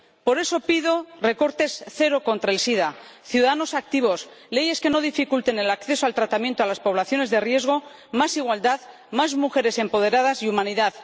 Por eso pido recortes cero contra el sida, ciudadanos activos, leyes que no dificulten el acceso al tratamiento a las poblaciones de riesgo, más igualdad, más mujeres empoderadas y humanidad.